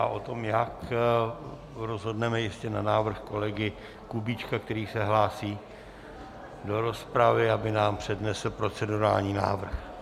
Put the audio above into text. A o tom, jak, rozhodneme ještě na návrh kolegy Kubíčka, který se hlásí do rozpravy, aby nám přednesl procedurální návrh.